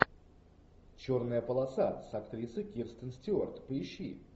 черная полоса с актрисой кирстен стюарт поищи